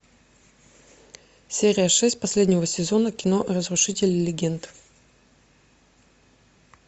серия шесть последнего сезона кино разрушители легенд